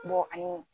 ani